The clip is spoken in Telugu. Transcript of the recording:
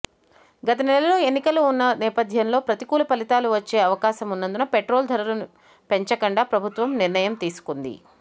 గత నెలలో ఎన్నికలు ఉన్న నేపథ్యంలో ప్రతికూల ఫలితాలు వచ్చే అవకాశమున్నందున పెట్రోలు ధరల పెంచకుండా ప్రభుత్వం నిర్ణయం తీసుకుంది